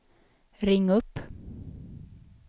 ring upp